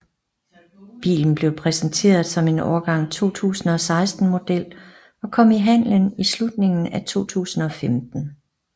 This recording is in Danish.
Bilen blev præsenteret som en årgang 2016 model og kom i handlen i slutningen af 2015